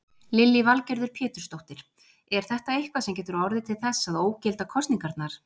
Lillý Valgerður Pétursdóttir: Er þetta eitthvað sem getur orðið til þess að ógilda kosningarnar?